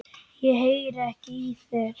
Ég heyri ekki í þér.